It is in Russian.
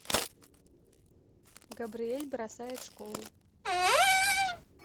габриэль бросает школу